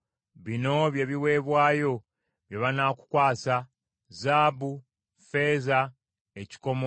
“Bino bye biweebwayo bye banaakukwasa: “zaabu, ne ffeeza, n’ekikomo;